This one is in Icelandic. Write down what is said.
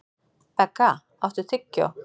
Begga, áttu tyggjó?